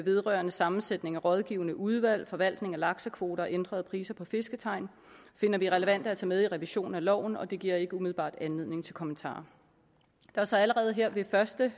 vedrørende sammensætning af rådgivende udvalg forvaltning af laksekvoter og ændrede priser på fisketegn finder vi relevant at tage med i revision af loven og det giver ikke umiddelbart anledning til kommentarer der er så allerede her ved første